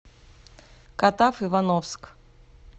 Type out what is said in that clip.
катав ивановск